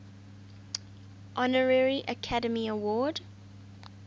honorary academy award